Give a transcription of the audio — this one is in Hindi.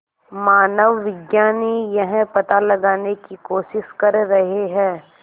मानवविज्ञानी यह पता लगाने की कोशिश कर रहे हैं